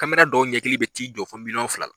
Kamera dɔw ɲɛkili bɛ'i jɔ fo milyɔn fila la.